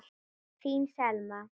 Þín Selma.